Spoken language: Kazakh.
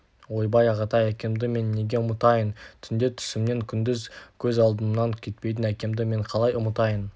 ойбай ағатай әкемді мен неге ұмытайын түнде түсімнен күндіз көз алдымнан кетпейтін әкемді мен қалай ұмытайын